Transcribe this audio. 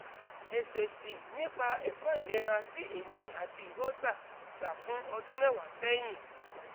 esesi nipa eko ilera ti emi ati iwo gba gba fun odun mewa sehin